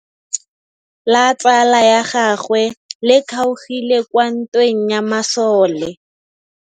Letsôgô la tsala ya gagwe le kgaogile kwa ntweng ya masole.